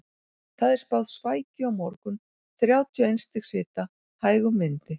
Það er spáð svækju á morgun, þrjátíu og eins stigs hita, hægum vindi.